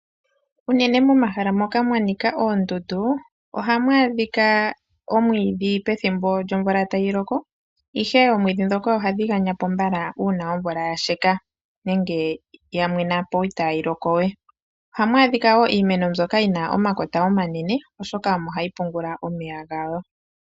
Uunene momahala moka mwanika oondundu ohamu adhika omwiidhi pethimbo lyomvula tayi loko, ishewe oomwiidhi dhoka ohadhi ganyapo mbala uuna omvula yasheke nenge yamwenapo itayi loko we. Ohamu adhika wo iimeno mbyoka yina omakota omanene oshoka omo hayi pungula omeya gawo.